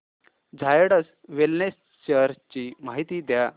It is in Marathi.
झायडस वेलनेस शेअर्स ची माहिती द्या